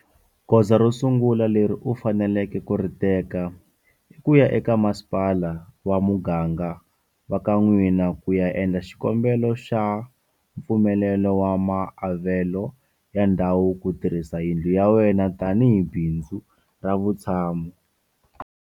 Goza ro sungula leri u faneleke ku ri teka i ku ya eka masipala wa muganga wa ka n'wina ku ya endla xikombelo xa mpfumelelo wa maavelo ya ndhawu ku tirhisa yindlu ya wena tanihi bindzu ra vutshamo.